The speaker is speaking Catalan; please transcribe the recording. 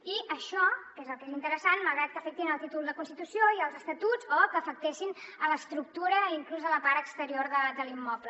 i això que és el que és interessant malgrat que afectin el títol de constitució i els estatuts o que afectessin l’estructura i inclús la part exterior de l’immoble